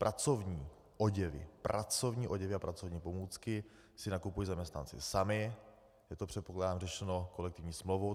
Pracovní oděvy, pracovní oděvy a pracovní pomůcky si nakupují zaměstnanci sami, je to, předpokládám řešeno, kolektivní smlouvou.